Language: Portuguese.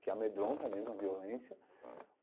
que amedronta mesmo, a violência.